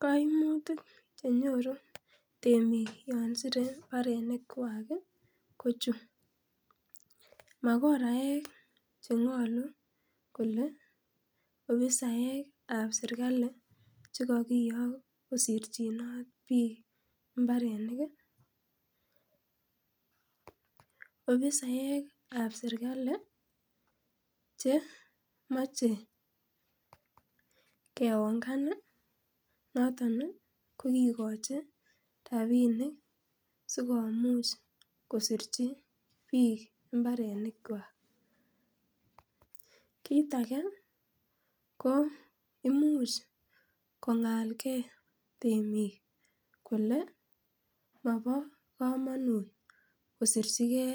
koimutik chenyoru temik yon sire imbarenik kwaak iih ko chu, magoraek chengolu kole ofisaek ab serkali chekokiyook kosirchinoot biik imbarenik iih, ofisaek ab serkali che moche keongan iih noton iih kokigochi rabinik sigomuuch kosirchi biik imbarenik kwaak, kiit age ko imuch kongaal kee temiik kole mobo komonuut kosirchigee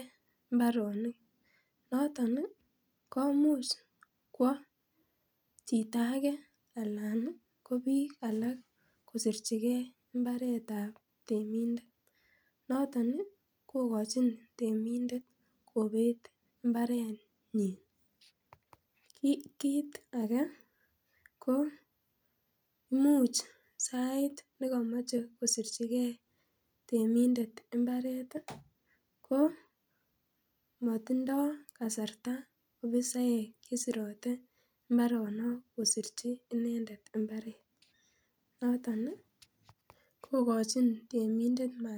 imbaronik noton iih komuch kwo chito age anan ko biik alak kosirchigee imbareet ab temindet, noton iih kogochin temindet kobeet imbarenyin, ko kiit age koimuch sait negomoche kosirchigee temindet imbaret iih ko motindoo kasarta ofisaek chesirote imbaronok kosirchi inendet imbareet noton iih kogochin temindet nywaan.